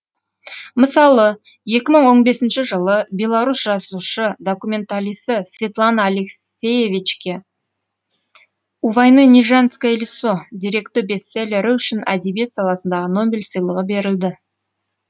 мысалы екі мың он бесінші жылы беларус жазушы документалисі светлана алексиевичке у войны не женское лицо деректі бестселлері үшін әдебиет саласындағы нобель сыйлығы берілді